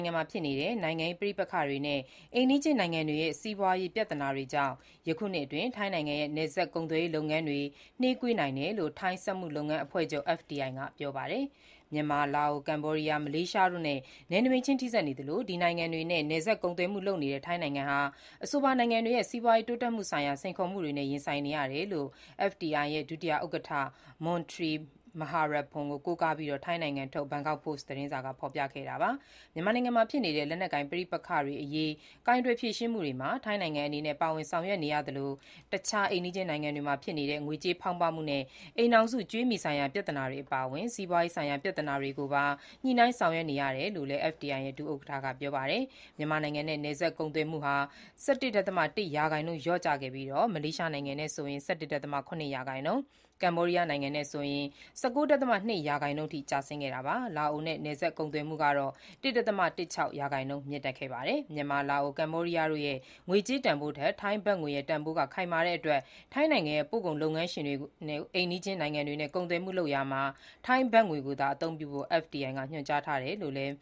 င်ငံမှာဖြစ်နေတဲ့ နိုင်ငံရေး ပဋိပက္ခတွေနဲ့ အိမ်နီးချင်းနိုင်ငံတွေရဲ့ စီးပွားရေးပြဿနာတွေကြောင့် ယခုနှစ်အတွင်း ထိုင်းနိုင်ငံရဲ့ နယ်စပ်ကုန်သွယ်ရေး လုပ်ငန်းတွေ နှေးကွေးနိုင်တယ်လို့ ထိုင်းစက်မှုလုပ်ငန်း အဖွဲ့ချုပ် (FTI) က ပြောပါတယ်။ မြန်မာ၊ လာအို၊ ကမ္ဘောဒီးယား၊ မလေးရှားတို့နဲ့ နယ်နိမိတ်ချင်း ထိစပ်နေသလို၊ ဒီနိုင်ငံတွေနဲ့ နယ်စပ်ကုန်သွယ်မှု လုပ်နေတဲ့ ထိုင်းနိုင်ငံဟာ အဆိုပါနိုင်ငံတွေရဲ့ စီးပွားရေးတိုးတက်မှုဆိုင်ရာ စိန်ခေါ်မှုတွေနဲ့ ရင်ဆိုင်နေရတယ်လို့ FTI ရဲ့ ဒုဥက္ကဋ္ဌ မွန်ထရီမဟာပလပ်ပွန် ကို ကိုးကားပြီး ထိုင်းနိုင်ငံထုတ် ဘန်ကောက်ပို့စ်သတင်းက ဖော်ပြခဲ့တာပါ။ မြန်မာနိုင်ငံမှာဖြစ်နေတဲ့ လက်နက်ကိုင်ပဋိပက္ခတွေအရေး ကိုင်တွယ်ဖြေရှင်းမှုတွေမှာ ထိုင်းနိုင်ငံအနေနဲ့ ပါဝင်ဆောင်ရွက်နေရသလို၊ အခြားအိမ်နီးချင်းနိုင်ငံတွေမှာဖြစ်နေတဲ့ ငွေကြေးဖောင်းပွမှုနဲ့ အိမ်ထောင်စု ကြွေးမြီဆိုင်ရာပြဿနာတွေအပါအဝင် စီးပွားရေးဆိုင်ရာ ပြဿနာတွေကိုပါ ညှိနှိုင်းဆောင်ရွက်နေရတယ်လို့လည်း FTI ရဲ့ ဒုဥက္ကဋ္ဌ က ပြောပါတယ်။မြန်မာနိုင်ငံနဲ့ နယ်စပ်ကုန်သွယ်မှုဟာ ၁၁ ဒသမ ၁ ရာခိုင်နှုန်း လျော့ကျခဲ့ပြီး၊ မလေးရှားနိုင်ငံနဲ့ဆိုရင် ၁၁.၇ ရာခိုင်နှုန်း၊ ကမ္ဘောဒီးယားနဲ့ဆိုရင် ၁၉.၂ ရာခိုင်နှုန်းအထိ ကျဆင်းခဲ့တာပါ။ လာအိုနဲ့ နယ်စပ်ကုန်သွယ်မှု ၁.၁၆ ရာခိုင်နှုန်းမြင့်တက်ခဲ့ပါတယ်။ မြန်မာ၊ လာအို၊ ကမ္ဘောဒီးယားတို့ရဲ့ ငွေကြေးတန်ဖိုးထက် ထိုင်းဘတ်ငွေရဲ့ တန်ဖိုးက ခိုင်မာတဲ့အတွက် ထိုင်းနိုင်ငံရဲ့ ပို့ကုန်လုပ်ငန်းရှင်တွေကို အိမ်နီးချင်းနိုင်ငံတွေနဲ့ ကုန်သွယ်မှုလုပ်ရာမှာ ထိုင်းဘတ်ငွေကိုသာ အသုံးပြုဖို့ FTI ကညွှန်ကြားထားတယ်လို့လည်း